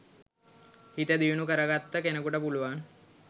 හිත දියුණු කරගත්ත කෙනෙකුට පුළුවන්